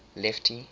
lefty